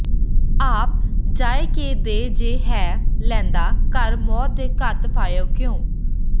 ਆਪ ਜਾਇ ਕੇ ਦੇ ਜੇ ਹੈ ਲੈਂਦਾ ਘਰ ਮੌਤ ਦੇ ਘਤ ਫਹਾਇਉ ਕਿਉਂ